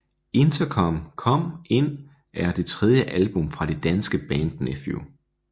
Interkom Kom Ind er det tredje album fra det danske band Nephew